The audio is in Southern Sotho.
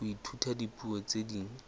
ho ithuta dipuo tse ding